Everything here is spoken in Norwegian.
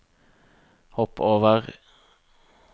hopp over